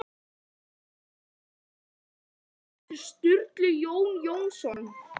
Tveggja klukkustunda leið frá borginni eftir Sturlu Jón Jónsson